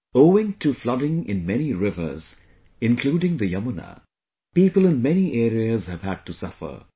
Owing to flooding in many rivers including the Yamuna, people in many areas have had to suffer